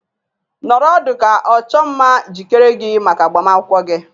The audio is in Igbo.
Nọrọ ọdụ ka ọchụmma jikere gị maka agbamakwụkwọ gị!